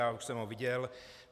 Já už jsem ho viděl.